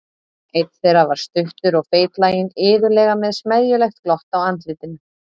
Einn þeirra var stuttur og feitlaginn, iðulega með smeðjulegt glott á andlitinu.